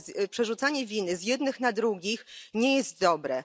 Przerzucanie winy z jednych na drugich nie jest dobre.